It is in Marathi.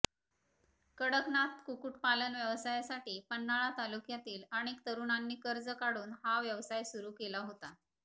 कडकनाथ कुकुटपालन व्यवसायासाठी पन्हाळा तालुक्यातील अनेक तरुणांनी कर्ज काढून हा व्यवसाय सुरू केला होता